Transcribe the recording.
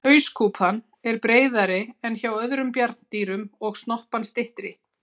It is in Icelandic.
Hauskúpan er breiðari en hjá öðrum bjarndýrum og snoppan styttri.